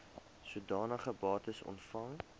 sodanige bates ontvang